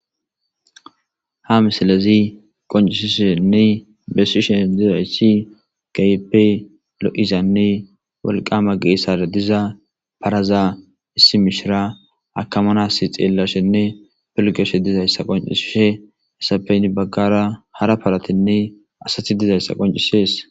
Ha misilezi qonccisishenne besishe dizayssi keehipe lo7izanne woqqama geesara paraza issi mishiriya akamanas xeelashenne pilgashe dizayssape heni baggara hara paratinne asati dizayssa qonccisees.